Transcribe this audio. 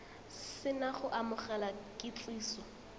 se na go amogela kitsiso